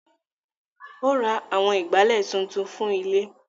Ó ra àwọn Ìgbálẹ́ tuntun fún ilé